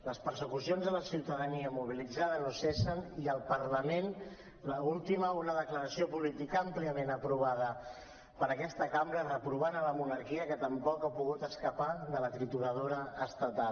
les persecucions a la ciutadania mobilitzada no cessen i al parlament l’última una declaració política àmpliament aprovada per aquesta cambra que reprova la monarquia que tampoc ha pogut escapar de la trituradora estatal